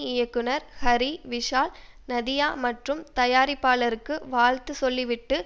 இயக்குனர் ஹரி விஷால் நதியா மற்றும் தயாரிப்பாளருக்கு வாழ்த்து சொல்லிவிட்டு